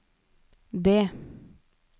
D